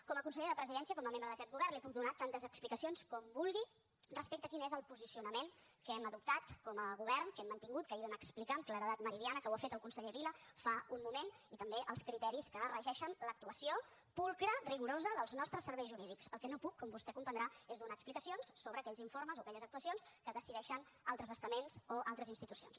com a consellera de la presidència com a membre d’aquest govern li puc donar tantes explicacions com vulgui respecte a quin és el posicionament que hem adoptat com a govern que hem mantingut que ahir vam explicar amb claredat meridiana que ho ha fet el conseller vila fa un moment i també els criteris que regeixen l’actuació pulcra rigorosa dels nostres serveis jurídics el que no puc com vostè comprendrà és donar explicacions sobre aquells informes o aquelles actuacions que decideixen altres estaments o altres institucions